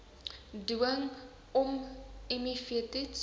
dwing ommiv toets